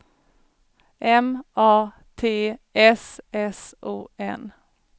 M A T S S O N